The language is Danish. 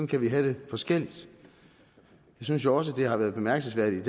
kan vi have det forskelligt jeg synes også at det har været bemærkelsesværdigt i